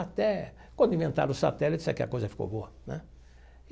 Até quando inventaram o satélite, é que a coisa ficou boa, né?